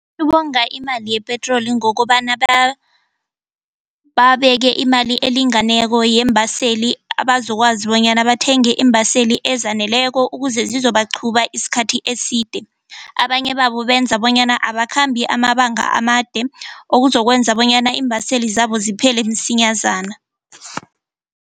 Ukonga imali yepetroli ngokobana babeke imali elinganeko yeembaseli abazokwazi bonyana bathenge iimbaseli ezaneleko ukuze zizobaqhuba isikhathi eside. Abanye babo benza bonyana abakhambi amabanga amade okuzokwenza bonyana iimbaseli zabo ziphele msinyazana.